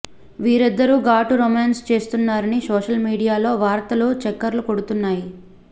వీరిద్దరు ఘాటు రొమాన్స్ చేస్తున్నారని సోషల్ మీడియాలో వార్తలు చక్కర్లు కొడుతున్నాయి